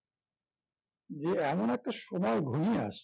যে এমন একটা সময় ঘনিয়ে আসছে